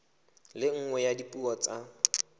le nngwe ya dipuo tsa